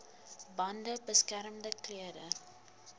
bande beskermende klere